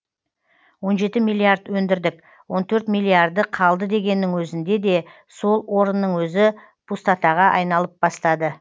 он жеті миллиард өндірдік он төрт миллиарды қалды дегеннің өзінде де сол орынның өзі пустотаға айналып бастады